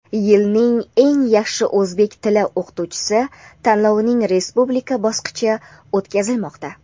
"Yilning eng yaxshi o‘zbek tili o‘qituvchisi" tanlovining respublika bosqichi o‘tkazilmoqda.